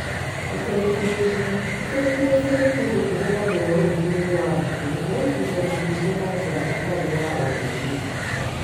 Itũrĩkithĩrio: Itũrĩkithĩrio nĩ kĩndũ kihũthagĩrwo ũrĩithi -inĩ wa ngũkũ gũtũrĩkithia matumbĩ na njĩra itarĩ ya ũndũire.